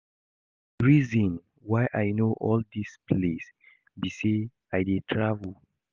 The reason why I know all dis place be say I dey travel